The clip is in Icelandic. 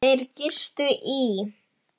Þeir gistu í